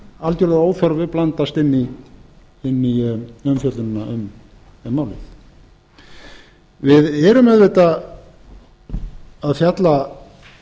algjörlega að óþörfu blandast inn í umfjöllunina um málið við erum auðvitað að fjalla